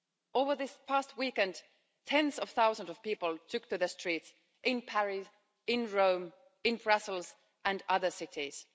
Over this past weekend, tens of thousands of people took to the streets in Paris, in Rome, in Brussels and other cities.